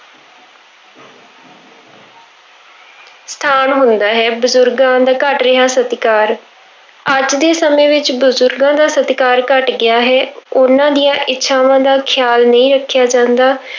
ਸਥਾਨ ਹੁੰਦਾ ਹੈ, ਬਜ਼ੁਰਗਾਂ ਦਾ ਘੱਟ ਰਿਹਾ ਸਤਿਕਾਰ, ਅੱਜ ਦੇ ਸਮੇਂ ਵਿੱਚ ਬਜ਼ੁਰਗਾਂ ਦਾ ਸਤਿਕਾਰ ਘੱਟ ਗਿਆ ਹੈ, ਉਹਨਾਂ ਦੀਆਂ ਇੱਛਾਵਾਂ ਦਾ ਖ਼ਿਆਲ ਨਹੀਂ ਰੱਖਿਆ ਜਾਂਦਾ।